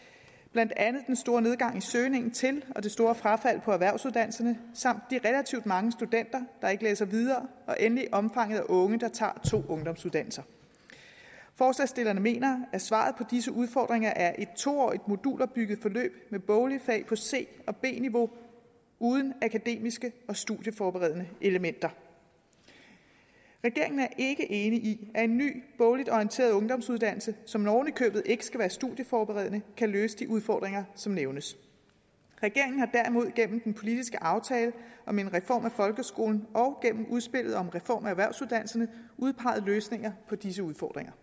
blandt andet den store nedgang i søgningen til og det store frafald på erhvervsuddannelserne samt de relativt mange studenter der ikke læser videre og endelig omfanget af unge der tager to ungdomsuddannelser forslagsstillerne mener at svaret på disse udfordringer er et to årig modulopbygget forløb med boglige fag på c og b niveau uden akademiske og studieforberedende elementer regeringen er ikke enig i at en ny bogligt orienteret ungdomsuddannelse som oven i købet ikke skal være studieforberedende kan løse de udfordringer som nævnes regeringen har derimod gennem den politiske aftale om en reform af folkeskolen og gennem udspillet om en reform af erhvervsuddannelserne udpeget løsninger på disse udfordringer